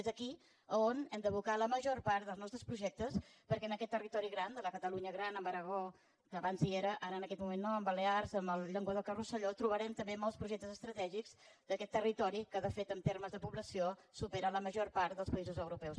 és aquí on hem d’abocar la major part dels nostres projectes perquè en aquest territori gran de la catalunya gran amb l’aragó que abans hi era ara en aquest moment no amb les balears amb el llenguadoc i el rosselló trobarem també molts projectes estratègics d’aquest territori que de fet en termes de població supera la major part dels països europeus